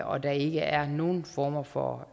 og der ikke er nogen former for